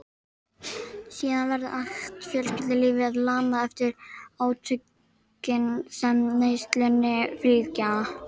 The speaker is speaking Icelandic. Síðan verður allt fjölskyldulífið lamað eftir átökin sem neyslunni fylgja.